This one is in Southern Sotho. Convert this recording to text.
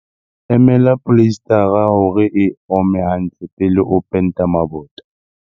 Emela poleisetara hore e ome hantle pele o penta mabota.